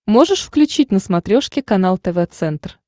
можешь включить на смотрешке канал тв центр